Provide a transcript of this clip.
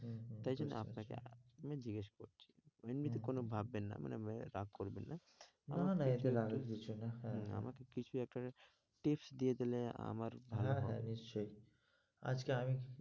তাই জন্য আপনাকে আহ মানে জিগ্যেস করছি? এমনিতে কোনো ভাববেন না রাগ করবেন না না না এটা রাগের কিছু না হম আমাকে কিছু একটা tips দিয়ে দিলে ভালো হয় আমার হ্যাঁ হ্যাঁ ভালো হয় নিশ্চই আজকে আমি,